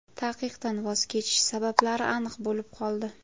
Taqiqdan voz kechish sabablari aniq bo‘lib qoldi.